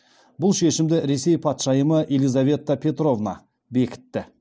бұл шешімді ресей патшайымы елизавета петровна бекітті